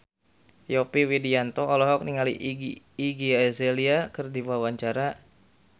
Yovie Widianto olohok ningali Iggy Azalea keur diwawancara